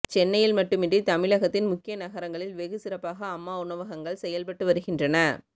சென்னையில் மட்டுமின்றி தமிழகத்தின் முக்கிய நகரங்களில் வெகுசிறப்பாக அம்மா உணவகங்கள் செயல்பட்டு வருகின்றன